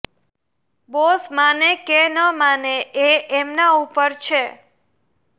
boss માને કે ન માને એ એમના ઉપર છે